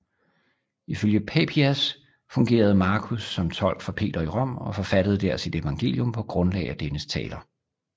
Ifølge Papias fungerede Markus som tolk for Peter i Rom og forfattede der sit evangelium på grundlag af dennes taler